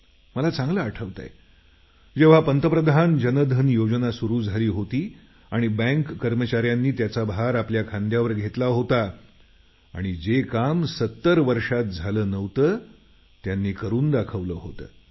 मला चांगलं आठवतं जेव्हा पंतप्रधान जनधन योजना सुरू झाली होती आणि बँक कर्मचाऱ्यांनी त्याचा भार आपल्या खांद्यावर घेतला होता आणि जे काम 70 वर्षात झालं नव्हतं त्यांनी करून दाखवलं होतं